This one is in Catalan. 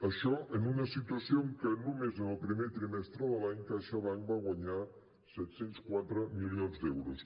això en una situació en què només en el primer trimestre de l’any caixabank va guanyar set cents i quatre milions d’euros